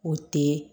O tɛ